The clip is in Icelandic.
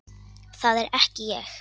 Það er ekki ég.